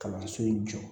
Kalanso in jɔ